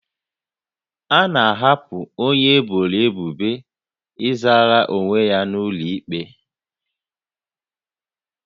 A na-ahapụ onye eboro ebubo ịzara onwe ya n'ụlọ ikpe